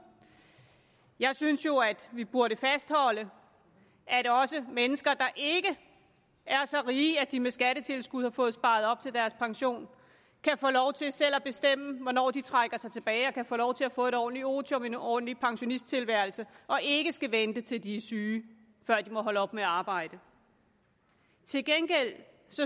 jeg synes jo at vi burde fastholde at også mennesker der ikke er så rige at de med skattetilskud har fået sparet op til deres pension kan få lov til selv at bestemme hvornår de trækker sig tilbage og kan få lov til at få et ordentligt otium en ordentlig pensionisttilværelse og ikke skal vente til de er syge før de må holde op med at arbejde til gengæld